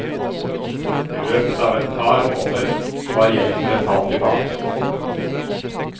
I løpet av et par måneder var gjelden betalt tilbake.